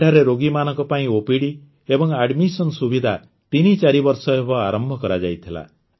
ଏଠାରେ ରୋଗୀମାନଙ୍କ ପାଇଁ ଓପିଡି ଏବଂ ଆଡମିଶନ ସୁବିଧା ତିନି ଚାରିବର୍ଷ ହେବ ଆରମ୍ଭ କରାଯାଇଥିଲା